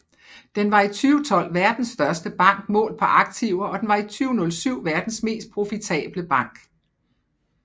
Den var i 2012 verdens største bank målt på aktiver og den var i 2007 verdens mest profitable bank